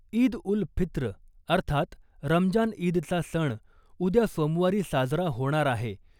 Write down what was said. ईद उल फित्र अर्थात रमजान ईदचा सण उद्या सोमवारी साजरा होणार आहे .